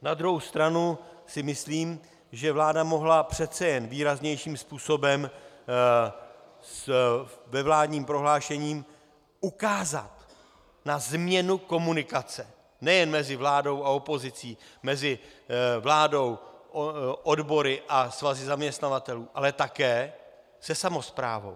Na druhou stranu si myslím, že vláda mohla přece jen výraznějším způsobem ve vládním prohlášení ukázat na změnu komunikace nejen mezi vládou a opozicí, mezi vládou, odbory a svazy zaměstnavatelů, ale také se samosprávou.